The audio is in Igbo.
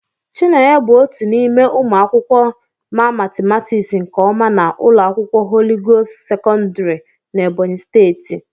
Chinenye bụ otu n'ime ụmụ akwụkwọ ma matịmatịks nke ọma na ụlọ akwụkwọ Holị Gost sekọndrị n'Ebonyi steeti.